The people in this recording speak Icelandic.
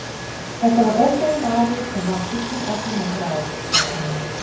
Þetta var ógæfumaður sem varð illum öflum að bráð, sagði amma.